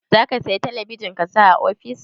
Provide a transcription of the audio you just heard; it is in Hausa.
Zaki saya talabijin ki saka a ofis?